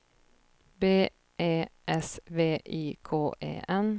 B E S V I K E N